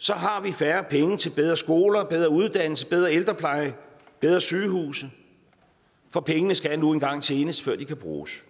så har vi færre penge til bedre skoler bedre uddannelse bedre ældrepleje bedre sygehuse for pengene skal nu engang tjenes før de kan bruges